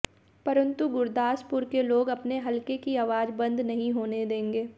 परन्तु गुरदासपुर के लोग अपने हलके की आवाज बंद नहीं होने देंगे